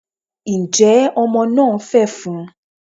njẹ Omo na fefún?